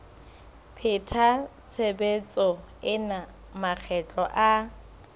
pheta tshebetso ena makgetlo a